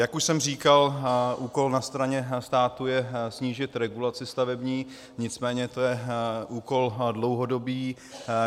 Jak už jsem říkal, úkol na straně státu je snížit regulaci stavební, nicméně to je úkol dlouhodobý.